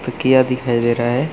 तकिया दिखाई दे रहा हैं।